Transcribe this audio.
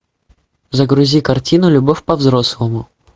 загрузи картину любовь по взрослому